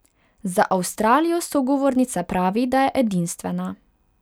Za Avstralijo sogovornica pravi, da je edinstvena.